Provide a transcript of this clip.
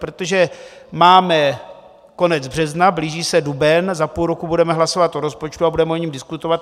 Protože máme konec března, blíží se duben, za půl roku budeme hlasovat o rozpočtu a budeme o něm diskutovat.